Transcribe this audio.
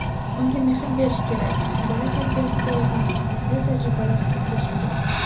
unga mehr berish kerak – bola tarbiyasiga oid muvaffaqiyatli tajribalar haqida suhbat.